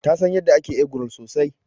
Ta San yanda ake eggroll sosai.